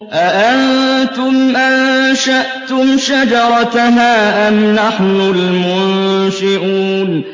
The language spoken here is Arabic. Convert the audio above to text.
أَأَنتُمْ أَنشَأْتُمْ شَجَرَتَهَا أَمْ نَحْنُ الْمُنشِئُونَ